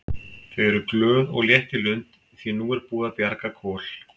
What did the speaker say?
Þau eru glöð og létt í lund því að nú er búið að bjarga Kol.